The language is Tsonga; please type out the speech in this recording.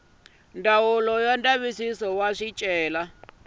ya ndzavisiso wa swicelwa leyi